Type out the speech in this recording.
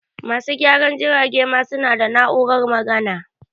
Masu gyaran jirage ma su na da na'urar magana